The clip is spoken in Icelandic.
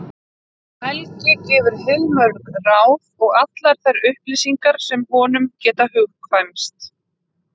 Helgi gefur heilmörg ráð og allar þær upplýsingar sem honum geta hugkvæmst.